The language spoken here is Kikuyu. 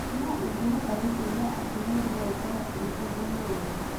No ingĩhota gũteithia atumia no ũkorũo ũrĩ ũndũ mwega.